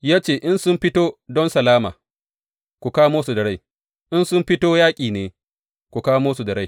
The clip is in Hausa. Ya ce, In sun fito don salama, ku kamo su da rai; in sun fito yaƙi ne, ku kamo su da rai.